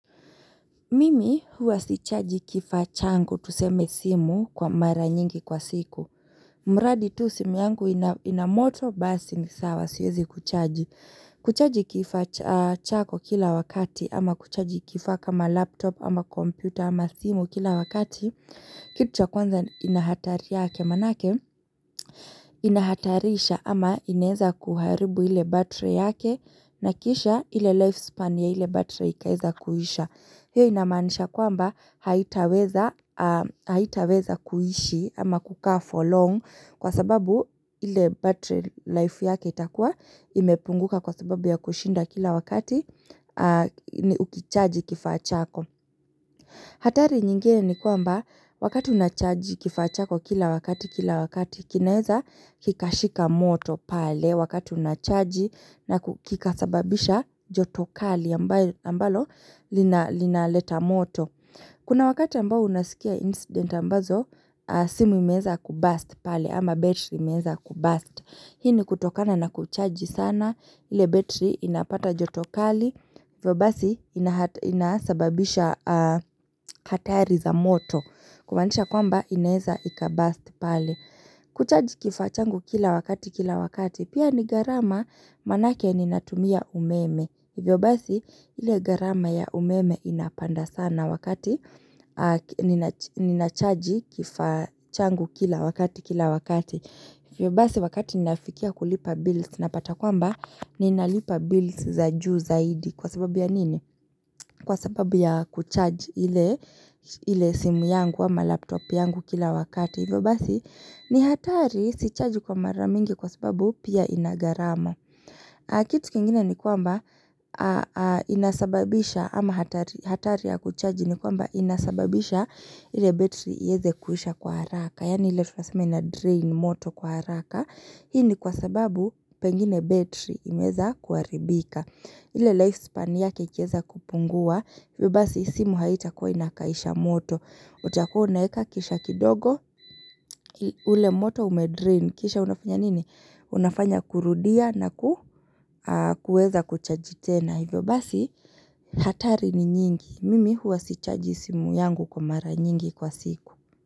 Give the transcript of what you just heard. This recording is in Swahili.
Mimi huwa sichaji kifaa changu tuseme simu kwa mara nyingi kwa siku. Mradi tu simu yangu ina moto basi ni sawa siwezi kuchaji. Kuchaji kifaa chako kila wakati ama kuchaji kifaa kama laptop ama kompyuta ama simu kila wakati Kitu cha kwanza ina hatari yake manake inahatarisha ama inaweza kuharibu ile battery yake na kisha ile lifespan ya ile battery ikaweza kuisha. Hiyo inamaanisha kwamba haitaweza kuishi ama kukaa for long kwa sababu ile battery life yake itakuwa imepunguka kwa sababu ya kushinda kila wakati ukichaji kifaa chako. Hatari nyingine ni kwamba wakati unachaji kifaa chako kila wakati kila wakati kinaweza kikashika moto pale wakati unachaji na kikasababisha joto kali ambalo linaleta moto. Kuna wakati ambao unasikia incident ambazo simu imeza kuburst pale ama battery imeweza kuburst. Hii ni kutokana na kuchaji sana ile battery inapata joto kali hivyo basi inasababisha hatari za moto kumaanisha kwamba inaweza ikaburst pale. Kuchaji kifaa changu kila wakati kila wakati pia ni gharama manake ninatumia umeme. Hivyo basi ile gharama ya umeme inapanda sana wakati ninachaji kifaa changu kila wakati kila wakati. Hivyo basi wakati ninafikia kulipa bills napata kwamba ninalipa bills za juu zaidi kwa sababu ya nini? Kwa sababu ya kucharge ile simu yangu ama laptop yangu kila wakati. Hivyo basi ni hatari sicharge kwa mara mingi kwa sababu pia ina gharama. Kitu kingine ni kwamba inasababisha ama hatari ya kuchaji ni kwamba inasababisha ile battery iweze kuisha kwa haraka. Yani ile tunaseme inadrain moto kwa haraka. Hii ni kwa sababu pengine battery imeweza kuharibika. Ile lifespan yake ikiweza kupungua. Hivyo basi simu haitakuwa inakaisha moto. Utakuwa unaweka kisha kidogo ule moto umedrain. Kisha unafanya nini? Unafanya kurudia na kuweza kuchaji tena. Hivyo basi, hatari ni nyingi. Mimi huwa sichaji simu yangu kwa mara nyingi kwa siku.